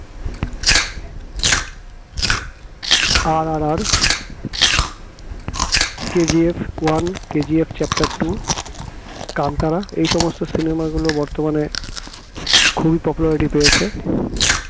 RRR KGF KGF one, KGF chapter two Kantara এই সমস্ত cinema গুলো বর্তমানে খুবই popularity পেয়েছে